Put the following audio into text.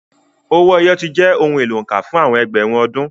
Owó ẹyọ ti jẹ́ ohun èlò òǹkà fún àwọn ẹgbẹ̀rún ọdún.